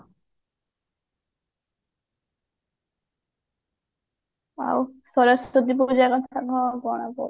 ଆଉ ସରସ୍ଵତୀ ପୂଜା